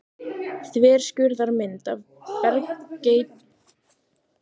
Þverskurðarmynd af bergeitlinum Sandfelli í Fáskrúðsfirði.